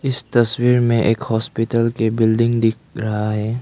इस तस्वीर में एक हॉस्पिटल के बिल्डिंग दिख रहा है।